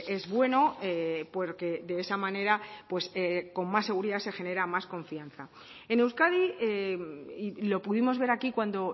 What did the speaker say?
es bueno porque de esa manera pues con más seguridad se genera más confianza en euskadi y lo pudimos ver aquí cuando